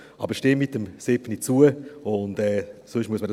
Aber stimmen Sie der Planungserklärung 7 zu.